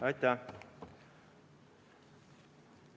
Aitäh!